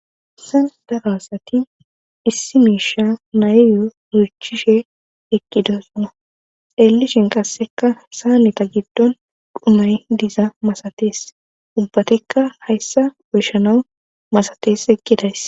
issan daro asati issi miisha nayyo nuychishe ekqidosana elishin qasseka saanita giddon dumari diza masatees ubbatikka hayssa oyshanawu masatees ekidays